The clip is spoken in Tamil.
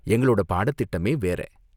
எங்களோட பாடத்திட்டமே வேற!